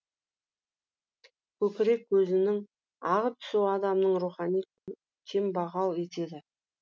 көкірек көзінің ағып түсуі адамның рухани кембағал етеді